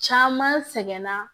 Caman sɛgɛnna